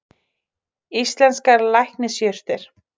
Íslenskar lækningajurtir.